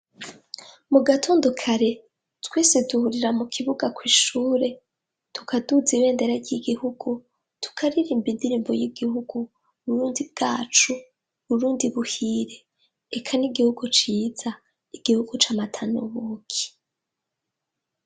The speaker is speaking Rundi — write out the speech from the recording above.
Mu gitondo kare, twese duhurira mu kibuga kw'ishure, tukaduza ibendera ry'igihugu tukaririmba indirimbo y'igihugu Burundi bwacu Burundi buhire, eka ni igihugu ciza, igihugu c'amata n'ubuki.